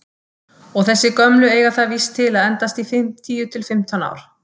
Og þessi gömlu eiga það víst til að endast í tíu til fimmtán ár!